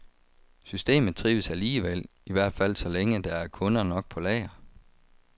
Systemet trives alligevel, i hvert fald så længe der er kunder nok på lager.